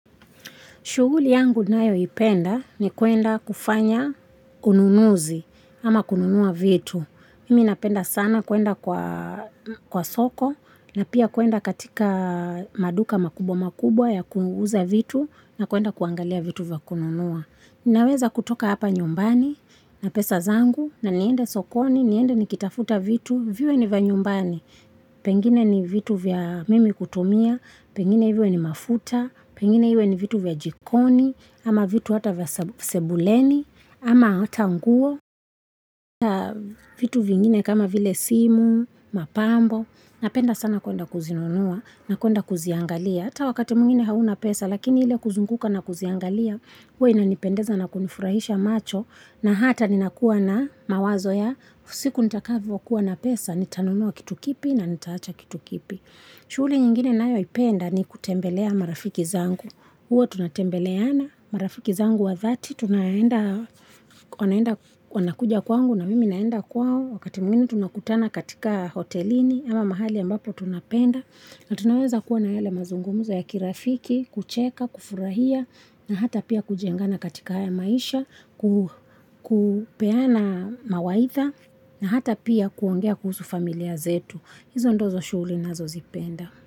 Shughuli yangu ninayoipenda ni kuenda kufanya ununuzi ama kununua vitu. Mimi napenda sana kuenda kwa soko na pia kuenda katika maduka makubwa makubwa ya kuuza vitu na kuenda kuangalia vitu vya kununua. Ninaweza kutoka hapa nyumbani na pesa zangu na niende sokoni, niende nikitafuta vitu, viwe ni vya nyumbani. Pengine ni vitu vya mimi kutumia, pengine iwe ni mafuta pengine iwe ni vitu vya jikoni ama vitu hata vya sebuleni ama hata nguo vitu vingine kama vile simu mapambo napenda sana kuenda kuzinunua na kuenda kuziangalia hata wakati mwingine hauna pesa lakini ile kuzunguka na kuziangalia huwa inanipendeza na kunifurahisha macho na hata ninakuwa na mawazo ya siku nitakayo kuwa na pesa Nitanunua kitu kipi na nitawacha kitu kipi. Shughuli nyingine nayoipenda ni kutembelea marafiki zangu. Huwa tunatembeleana marafiki zangu wa dhati. Wanakuja kwangu na mimi naenda kwao. Wakati mwingine tunakutana katika hotelini. Ama mahali ya ambapo tunapenda. Na tunaweza kuwa na yale mazungumzo ya kirafiki, kucheka, kufurahia. Na hata pia kujengana katika haya maisha. Kupeana mawaidha. Na hata pia kuongea kuhusu familia zetu, hizo ndizo shughuli ninazozipenda.